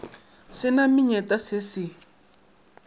se na menyetla se se